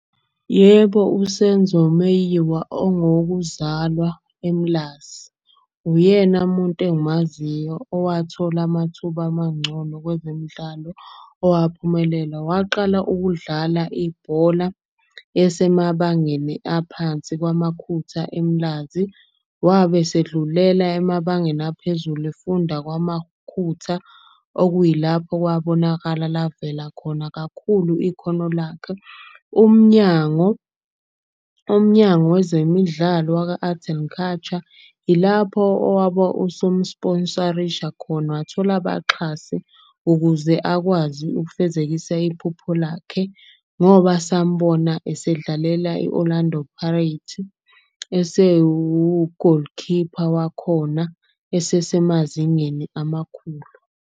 Yebo, uSenzo Meyiwa ongowokuzalwa eMlazi. Uyena muntu engimaziyo owathola amathuba mangcono kwezemidlalo, owaphumelela. Waqala ukudlala ibhola esemabangeni aphansi kwaMakhutha eMlazi, wabe selidlulela emabangeni aphezulu efunda kwaMakhutha. Okuyilapho kwabonakala lavela khona kakhulu ikhono lakhe. Umnyango Wezemidlalo waka-Art and Culture, ilapho owaba usumu-sponsor-isha khona. Wathola abaxhasi ukuze akwazi ukufezekisa iphupho lakhe. Ngoba sambona osedlalela i-Orlando Pirates esewugolikhipha wakhona, esesemazingeni amakhulu.